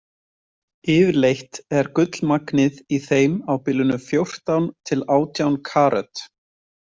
Yfirleitt er gullmagnið í þeim á bilinu fjórtán til átján karöt.